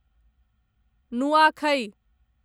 नुआखै